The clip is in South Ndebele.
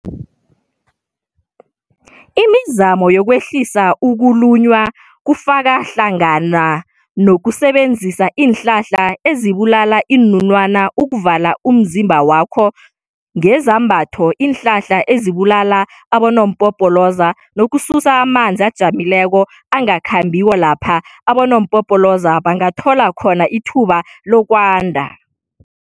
Imizamo yokwehlisa ukulunywa kufaka hlangananokusebenzisa iinhlanhla ezibulala iinunwana ukuvala umzimba wakho ngezambatho iinhlanhla ezibulala abonompopoloza, nokususa amazni ajamileko angakhambiko lapha abonompopoloza bangathola khona ithuba lokwanda.